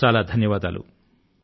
చాలా చాలా ధన్యవాదాలు